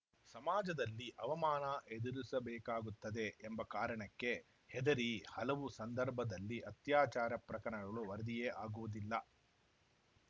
ಸಮಾಜದಲ್ಲಿ ಅವಮಾನ ಎದುರಿಸಬೇಕಾಗುತ್ತದೆ ಎಂಬ ಕಾರಣಕ್ಕೆ ಹೆದರಿ ಹಲವು ಸಂದರ್ಭದಲ್ಲಿ ಅತ್ಯಾಚಾರ ಪ್ರಕರಣಗಳು ವರದಿಯೇ ಆಗುವುದಿಲ್ಲ